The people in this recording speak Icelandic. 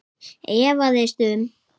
efaðist um